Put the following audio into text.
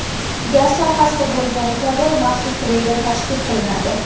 Gaz sohasida bo‘lgani kabi maxsus treyder tashkil qilinadi.